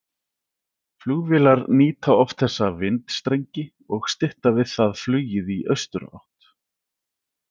Flugvélar nýta oft þessa vindstrengi og stytta við það flugið í austurátt.